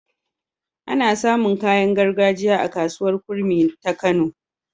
Ana samun kayan gargajiya a kasuwar kurmi ta kano